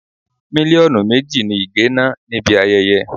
Mílíọ̀nù méjì ni Ige ná níbi ayẹyẹ.